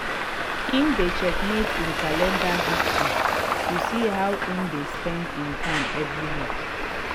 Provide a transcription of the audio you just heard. him dey checkmate him calender history to see how him dey spend him time every week.